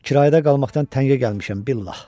Kirayədə qalmaqdan təngə gəlmişəm, billah.